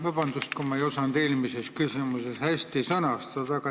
Vabandust, kui ma ei osanud eelmist küsimust hästi sõnastada.